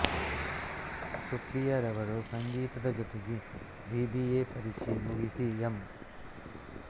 ಸುಪ್ರಿಯರವರು ಸಂಗೀತದ ಜೊತೆಗೆ B B A ಪರೀಕ್ಷೆ ಮುಗಿಸಿ ಎಂ